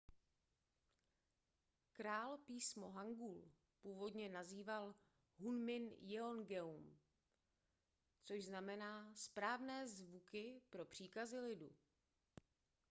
král písmo hangul původně nazýval hunmin jeongeum což znamená správné zvuky pro příkazy lidu